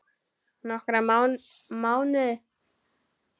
Nokkra mánuði?